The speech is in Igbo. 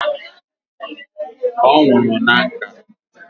O nwuru na nka